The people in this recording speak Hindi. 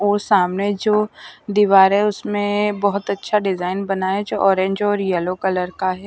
और सामने जो दीवार है उसमें बहुत अच्छा डिजाइन बना है जो ऑरेंज और यलो कलर का है।